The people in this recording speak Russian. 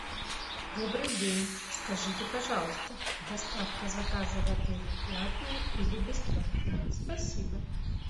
добрый день скажите пожалуйста доставка заказа в отеле платная или бесплатная спасибо